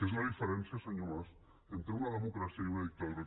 és la diferència senyor mas entre una democràcia i una dictadura